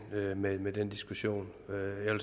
med med den diskussion